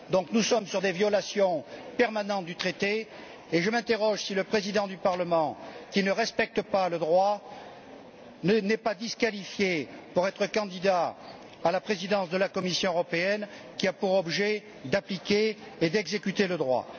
Nous sommes confrontés à des violations permanentes du traité et je m'interroge sur le fait de savoir si le Président du Parlement, qui ne respecte pas le droit, n'est pas disqualifié pour être candidat à la présidence de la Commission européenne, qui a pour objet d'appliquer et d'exécuter le droit.